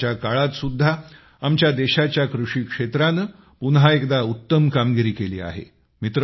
संकटाच्या काळात सुद्धा आमच्या देशाच्या कृषी क्षेत्राने पुन्हा एकदा उत्तम कामगिरी केली आहे